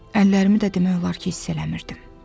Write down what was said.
Əllərimi də demək olar ki, hiss eləmirdim.